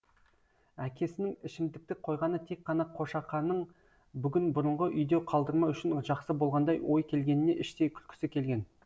әкесінің ішімдікті қойғаны тек қана қошақанын бүгін бұрынғы үйде қалдырмау үшін жақсы болғандай ой келгеніне іштей күлкісі келген